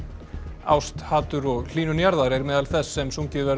ást hatur og hlýnun jarðar er meðal þess sem sungið verður